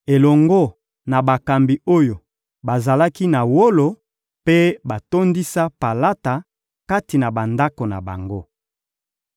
elongo na bakambi oyo bazalaki na wolo mpe batondisa palata kati na bandako na bango.